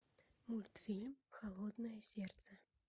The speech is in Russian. мультфильм холодное сердце